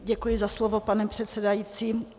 Děkuji za slovo, pane předsedající.